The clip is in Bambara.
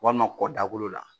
Walima kɔ dakolo la